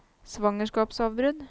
svangerskapsavbrudd